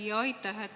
Jaa, aitäh!